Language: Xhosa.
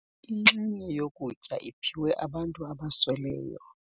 Inxenye yokutya iphiwe abantu abasweleyo.